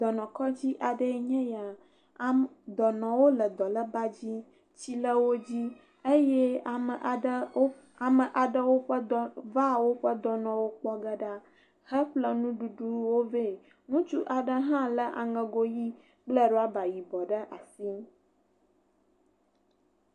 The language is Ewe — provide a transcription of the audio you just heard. Dɔnɔkɔdzi aɖee nye ya. Dɔnɔwo le dɔnɔbadzi. Tsi le wo dzi eye ame aɖewo va woƒe dɔnɔwo kpɔ ge ɖa heƒle nuɖuɖuwo vɛ. Ŋutsu afe hã le aŋego ɣi kple rɔba yibɔ ɖe asi.